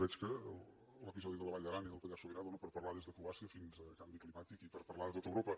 veig que l’episodi de la vall d’aran i del pallars sobirà dóna per parlar des de croàcia fins al canvi climàtic i per parlar de tot europa